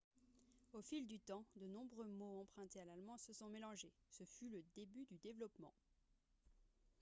au fil du temps de nombreux mots empruntés à l'allemand se sont mélangés ce fut le début du développement